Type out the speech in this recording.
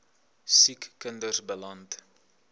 siek kinders beland